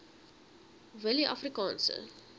willieafrikaanse